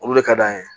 Olu de ka d'an ye